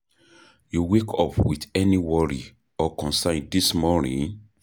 You wake up with any worry or concern dis morning?